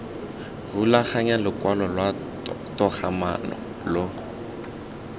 rulaganya lokwalo lwa togamaano lo